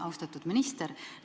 Austatud minister!